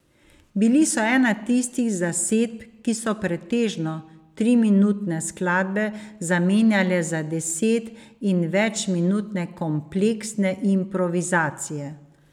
Bili so ena tistih zasedb, ki so pretežno triminutne skladbe zamenjale za deset in večminutne kompleksne improvizacije.